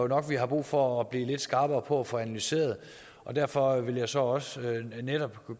nok vi har brug for at blive skarpere på at få analyseret og derfor vil jeg så også netop